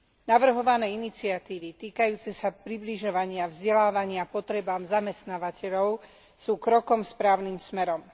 Navrhované iniciatívy týkajúce sa približovania vzdelávania potrebám zamestnávateľov sú krokom správnym smerom.